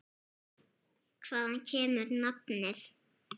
Hvaðan kemur nafnið?